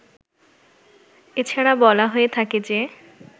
এছাড়া বলা হয়ে থাকে যে